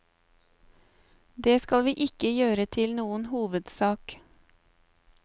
Det skal vi ikke gjøre til noen hovedsak.